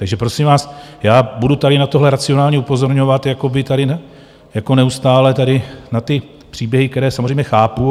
Takže prosím vás, já budu tady na tohle racionálně upozorňovat jako neustále tady na ty příběhy, které samozřejmě chápu.